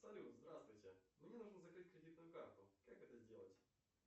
салют здравствуйте мне нужно закрыть кредитную карту как это сделать